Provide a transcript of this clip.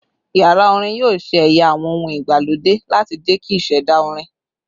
Yara orin yoo ṣe ẹya awọn ohun elo igbalode lati jẹki iṣẹda orin